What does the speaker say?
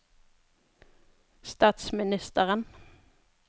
statsministeren